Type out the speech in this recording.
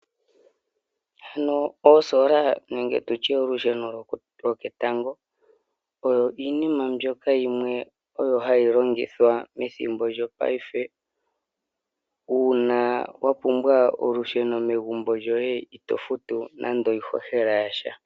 Ano oosoola nege tutye olusheno lo ke tango oyo iinima mbyoka yimwe oyo hayi longithwa methimbo lyopaife. Uuna wa pumbwa olusheno megumbo lyoye ito futu nande iihohela yasha.